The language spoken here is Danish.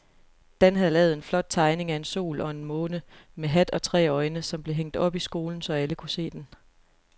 Dan havde lavet en flot tegning af en sol og en måne med hat og tre øjne, som blev hængt op i skolen, så alle kunne se den.